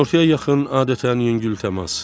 Günortaya yaxın, adətən yüngül təmas.